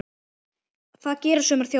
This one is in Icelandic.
Það gera sumar þjóðir.